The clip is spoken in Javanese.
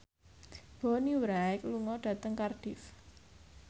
Bonnie Wright lunga dhateng Cardiff